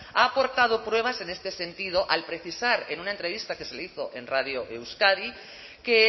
ha aportado pruebas en este sentido al precisar en una entrevista que se le hizo en radio euskadi que